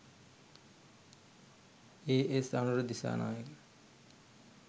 A.S. Anura Dissanayake